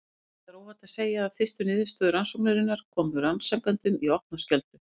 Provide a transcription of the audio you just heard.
Það er óhætt að segja að fyrstu niðurstöður rannsóknarinnar komu rannsakendum í opna skjöldu.